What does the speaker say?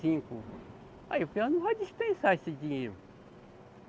cinco. Aí o peão não vai dispensar esse dinheiro.